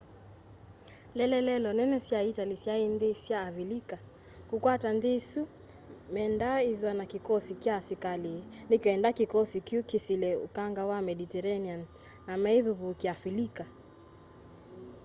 ieleelo nene sya itali syai nthi sya avilika. kukwata nthi isu mendaa ithwa na kikosikya kya asikali nikenda kikosi kyu kisile ukanga wa mediterranean na meivivúkia avilika